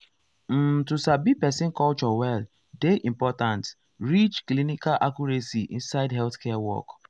um to sabi person culture well dey important reach clinical accuracy inside healthcare work.